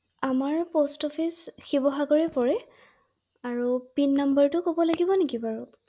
আমাৰ শিৱসাগৰে পৰে ৷আৰু পিন নম্বৰটো ক’ব লাগিব নেকি বাৰু?